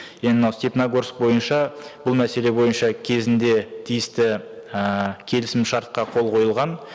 енді мынау степногорск бойынша бұл мәселе бойынша кезінде тиісті ііі келісімшартқа қол қойылған